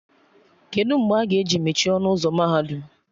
Kedụ mgbe a ga-emechi ọnụ ụzọ mahadum?